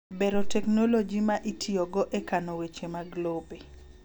Bero teknoloji ma itiyogo e kano weche mag lope.